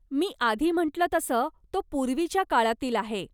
मी आधी म्हंटलं तसं तो पूर्वीच्या काळातील आहे.